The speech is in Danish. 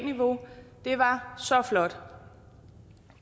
niveau det var så flot